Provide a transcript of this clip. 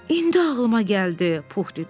İndi ağlıma gəldi, Pux dedi.